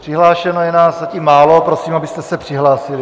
Přihlášeno je nás zatím málo, prosím, abyste se přihlásili.